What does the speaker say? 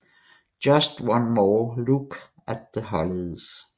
Just One More Look at The Hollies